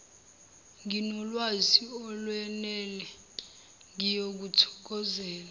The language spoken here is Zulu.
nginolwazi olwenele ngiyokuthokozela